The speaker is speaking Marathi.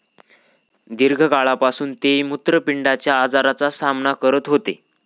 दीर्घकाळापासून ते मुत्रपिंडाच्या आजाराचा सामना करत होते.